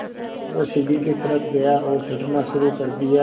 वह सीढ़ी की तरफ़ गया और चढ़ना शुरू कर दिया